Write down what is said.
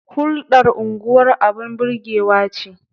Hulɗar unguwar abun burgewa ce.